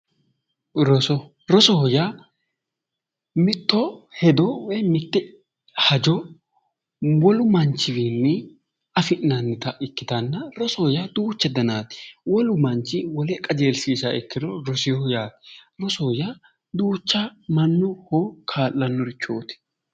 roso rosoho yaa mitte hedo woyi mitte hajo wolu manchiwiinni afi'nannita ikkitanna rosoho yaa duucha danaati wolu manchi wole qajeelshiishaaha ikkiro roseeho yaate rosoho yaa duucha mannaho kaa'lannorichooti.